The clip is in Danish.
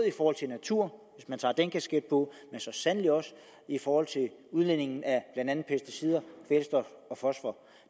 i forhold til natur hvis man tager den kasket på men så sandelig også i forhold til udledningen af blandt andet pesticider kvælstof og fosfor